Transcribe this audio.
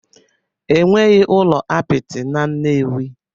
Enweghị ụlọ apịtị na Nnewi